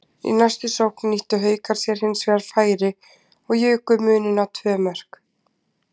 Í næstu sókn nýttu Haukar sér hinsvegar sitt færi og juku muninn í tvö mörk.